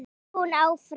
hélt hún áfram.